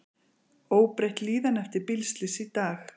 Óbreytt líðan eftir bílslys í dag